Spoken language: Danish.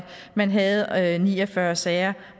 man havde ni og fyrre sager